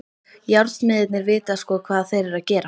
Járnsmiðirnir vita sko hvað þeir eru að gera.